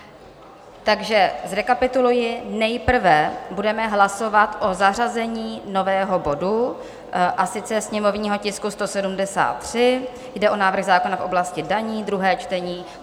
Takže zrekapituluji: nejprve budeme hlasovat o zařazení nového bodu, a sice sněmovního tisku 173, jde o návrh zákona v oblasti daní, druhé čtení.